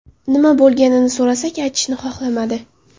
Nima bo‘lganini so‘rasak, aytishni xohlamadi.